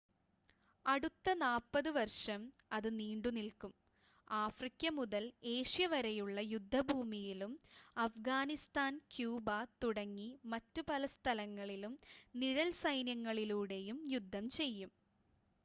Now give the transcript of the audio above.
അടുത്ത 40 വർഷം ഇത് നീണ്ടുനിൽക്കും ആഫ്രിക്ക മുതൽ ഏഷ്യ വരെയുള്ള യുദ്ധഭൂമിയിലും അഫ്ഗാനിസ്ഥാൻ ക്യൂബ തുടങ്ങി മറ്റ് പല സ്ഥലങ്ങളിലും നിഴൽ സൈന്യങ്ങളിലൂടെയും യുദ്ധം ചെയ്യും